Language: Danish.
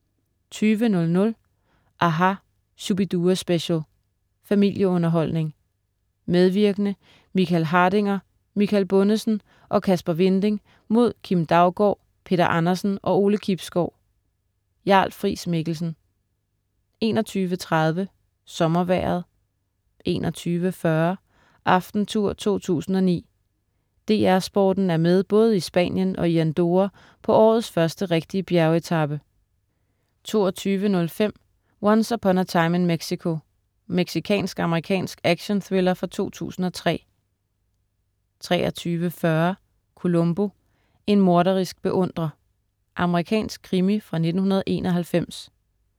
20.00 aHA! Shu-bi-dua-special. Familieunderholdning. Medvirkende: Michael Hardinger, Michael Bundesen og Kasper Winding mod Kim Daugaard, Peter Andersen og Ole Kibsgaard. Jarl-Friis Mikkelsen 21.30 SommerVejret 21.40 Aftentour 2009. DR Sporten er med både i Spanien og i Andorra på årets første rigtige bjergetape 22.05 Once Upon a Time in Mexico. Mexicansk-amerikansk actionthriller fra 2003 23.40 Columbo: En morderisk beundrer. Amerikansk krimi fra 1991